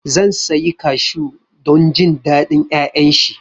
Zan sayi Kashu don jin daɗin ƴaƴan shi